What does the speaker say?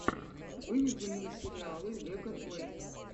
выведи мне сериалы лега плэй